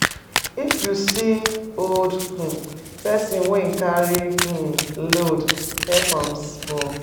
If you see old um pesin wey e carry um load help am small.